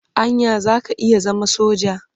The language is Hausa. Anya za ka iya zama soja?